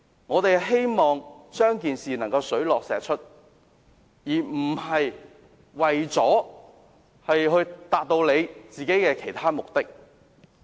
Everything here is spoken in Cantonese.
我們希望調查能令事件水落石出，而不是為了達到他們的其他目的。